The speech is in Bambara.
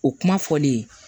O kuma fɔlen ye